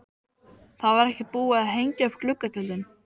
Það var ekki búið að hengja upp gluggatjöldin.